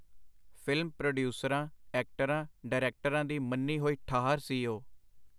ਫਿਲਮ-ਪਰੋਡੀਊਸਰਾਂ, ਐਕਟਰਾਂ, ਡਾਇਰੈਕਟਰਾਂ ਦੀ ਮੰਨੀ ਹੋਈ ਠਾਹਰ ਸੀ ਉਹ.